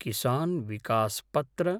किसान् विकस् पत्र